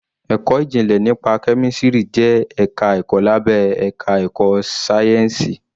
Ẹ̀kọ́ ìjìnlẹ̀ nípa kẹ́mísìrì jẹ́ ẹ̀ka ẹ̀kọ́ lábé àká ẹ̀kọ́ sáyẹ́ǹsìì.